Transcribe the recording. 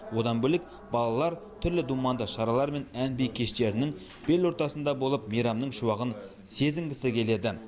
одан бөлек балалар түрлі думанды шаралар мен ән би кештерінің бел ортасында болып мейрамның шуағын сезінгісі келеді